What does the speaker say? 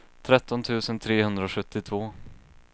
tretton tusen trehundrasjuttiotvå